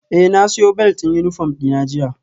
Eh na siyo belt din uniform dina jiya